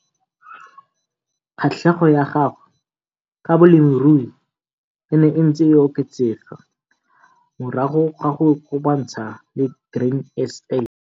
Kgatlhego ya gagwe ka bolemirui e ne e ntse e oketsega morago ga go ikopantsha le Grain SA.